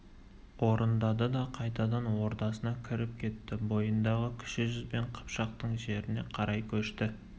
орындады да қайтадан ордасына кіріп кетті бойындағы кіші жүз бен қыпшақтың жеріне қарай көшті